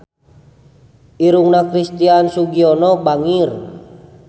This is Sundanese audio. Irungna Christian Sugiono bangir